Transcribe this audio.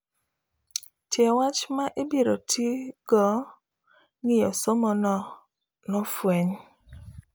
Tie wach ma ibiro tii go ng'iyo somo no nofuenyi